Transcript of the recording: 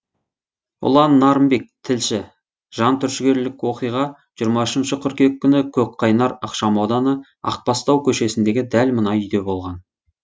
ұлан нарынбек тілші жантүршігерлік оқиға жиырма үшінші қыркүйек күні көкқайнар ықшамауданы ақбастау көшесіндегі дәл мына үйде болған